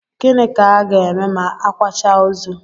Gịnị ka a ga-eme ma a kwachaa ozu?